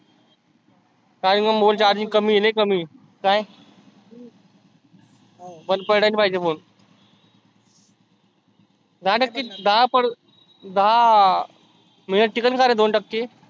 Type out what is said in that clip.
काही पण बोल पण charging कमी कमी आहे. काय? बंद पडला नाही पाहीजे phone नाटक किती दहा पडल. दहा minute टिकल कारे दोन टक्के?